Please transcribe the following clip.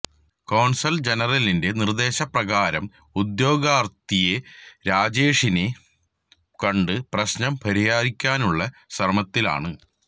consul ജനറലിന്റെ നിര്ദേശപ്രകാരം ഉദ്യോഗസ്ഥരെത്തി രാജേഷിനെ കണ്ട് പ്രശ്നം പരിഹരിക്കാനുള്ള ശ്രമത്തിലാണ്